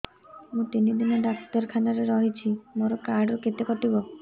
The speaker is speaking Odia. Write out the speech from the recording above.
ମୁଁ ତିନି ଦିନ ଡାକ୍ତର ଖାନାରେ ରହିଛି ମୋର କାର୍ଡ ରୁ କେତେ କଟିବ